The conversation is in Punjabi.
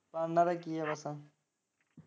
ਹਾਂ ਇੰਨਾ ਦਾ ਕੀ ਵਤਨ।